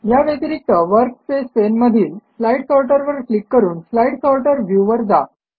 या व्यतिरिक्त work space पाने मधील स्लाईड सॉर्टर वर क्लिक करून स्लाईड सॉर्टर व्ह्यू वर जा